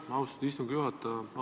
Aitäh, austatud istungi juhataja!